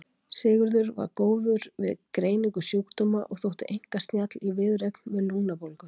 Sigurður var góður við greiningu sjúkdóma og þótti einkar snjall í viðureign við lungnabólgu.